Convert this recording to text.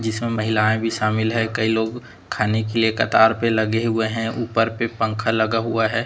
जिसमे महिलाएं भी शामिल है कई लोग खाने के लिए कतार पे लगे हुए हैं ऊपर पे पंखा लगा हुआ है।